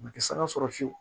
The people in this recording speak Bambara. U tɛ sara sɔrɔ fiyewu